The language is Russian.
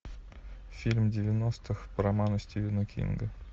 фильм девяностых по роману стивена кинга